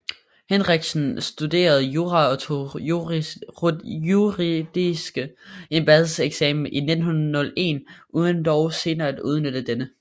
Henrichsen studerede jura og tog juridisk embedseksamen i 1901 uden dog senere at udnytte denne